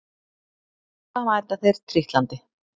Og alltaf mæta þeir trítlandi